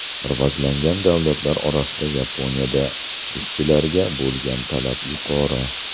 Rivojlangan davlatlar orasida Yaponiyada ishchilarga bo‘lgan talab yuqori.